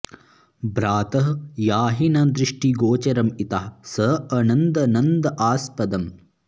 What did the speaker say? भ्रातः याहि न दृष्टि गोचरम् इतः स अनन्द नन्द आस्पदम्